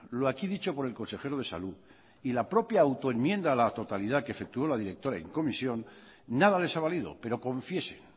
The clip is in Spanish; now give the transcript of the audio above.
lo aquí dicho por el consejero de salud y la propia auto enmienda a la totalidad que efectuó la directora en comisión nada les ha valido pero confíese